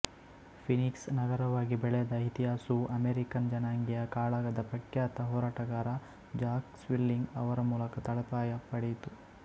Phoenix ನಗರವಾಗಿ ಬೆಳೆದ ಇತಿಹಾಸವು ಅಮೆರಿಕನ್ ಜನಾಂಗೀಯ ಕಾಳಗದ ಪ್ರಖ್ಯಾತ ಹೋರಾಟಗಾರ ಜಾಕ್ ಸ್ವಿಲ್ಲಿಂಗ್ ಅವರ ಮೂಲಕ ತಳಪಾಯ ಪಡೆಯಿತು